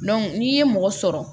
n'i ye mɔgɔ sɔrɔ